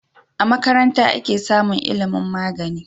A makaranta ake samun ilimun magani